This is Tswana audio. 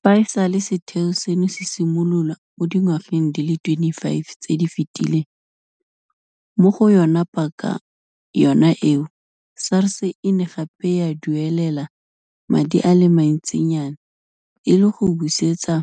Fa e sale setheo seno se simololwa mo dingwageng di le 25 tse di fetileng, mo go yona paka yona eo SARS e ne gape ya duelela madi a le mantsinyana e le go busetsa